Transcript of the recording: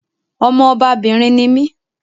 Ọmọ ọbabìnrin ni mí